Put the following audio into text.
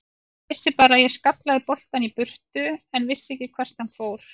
Ég vissi bara að ég skallaði boltann í burtu en vissi ekki hvert hann fór.